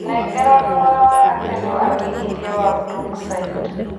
nengera thogora wa gatene wa wĩigĩthĩa wa brookside